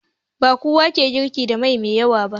Bakowa ke girki da magi mai yawa ba